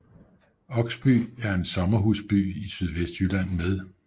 Oksby er en sommerhusby i Sydvestjylland med